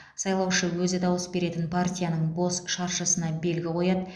сайлаушы өзі дауыс беретін партияның бос шаршысына белгі қояды